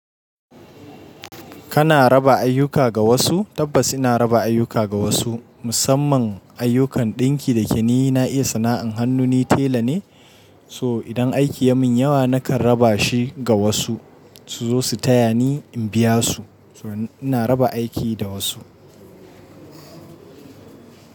Kana raba ayyuka ga wasu? Tabbas ina raba ayyuka ga wasu, musamman ayyukan ɗinki da yake ni. Na iya sana’an hannu, ni tela ne, so idan aiki ya min yawa nakan raba shi ga wasu su zo su taya ni in biya su. So ina raba aiki da wasu.